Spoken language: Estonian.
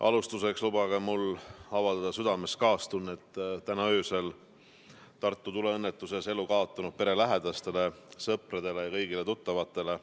Alustuseks lubage mul avaldada südamest kaastunnet täna öösel Tartu tuleõnnetuses elu kaotanud pere lähedastele, sõpradele ja kõigile tuttavatele.